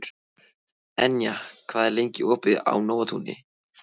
Enja, hvað er lengi opið í Nóatúni?